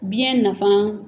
Biɲɛ nafa